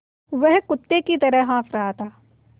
वह कुत्ते की तरह हाँफ़ रहा था